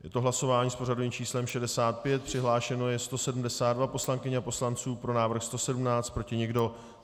Je to hlasování s pořadovým číslem 65, přihlášeno je 172 poslankyň a poslanců, pro návrh 117, proti nikdo.